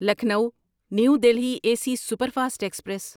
Lucknow new Delhi A C superfast express